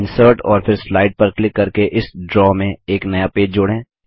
insert और फिर slide पर क्लिक करके इस ड्रा में एक नया पेज जोड़ें